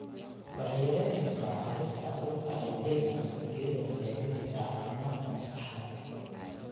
Waxay yaraynaysaa halista cudurka Alzheimers iyadoo hagaajinaysa caafimaadka maskaxda.